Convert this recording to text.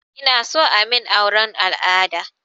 Inason amin auren al'ada